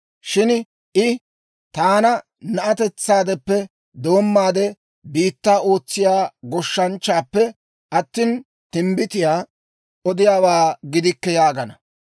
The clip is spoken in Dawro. Shin I, ‹Taani na'atetsaadeppekka doommaade biittaa ootsiyaa goshshanchchaappe attina, timbbitiyaa odiyaawaa gidikke› yaagana.